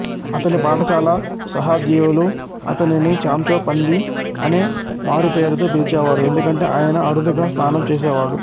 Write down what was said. అతని పాఠశాల సహాధ్యాయులు అతనిని చాంచో పంది అనే మారుపేరుతో పిలిచేవారు ఎందుకంటే ఆయన అరుదుగా స్నానం చేసేవాడు